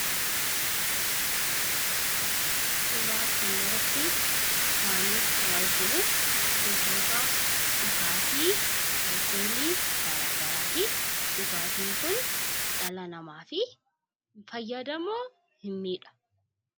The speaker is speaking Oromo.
Suuraa kanarratti waani nu arginu gosoota dhugaatii alkoolii garaa garaati. Dhugaatiin kun dhala namaaf in fayyadamoo in miidha?